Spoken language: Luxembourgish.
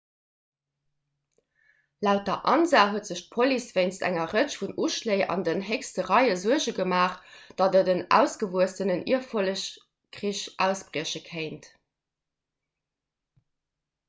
laut der ansa huet sech d'police wéinst enger rëtsch vun uschléi an den héchste réie suerge gemaach datt en ausgewuessenen ierfollegskrich ausbrieche kéint